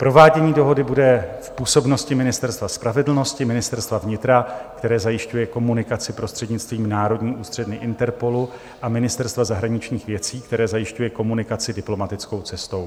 Provádění dohody bude v působnosti Ministerstva spravedlnosti, Ministerstva vnitra, které zajišťuje komunikaci prostřednictvím Národní ústředny Interpolu a Ministerstva zahraničních věcí, které zajišťuje komunikaci diplomatickou cestou.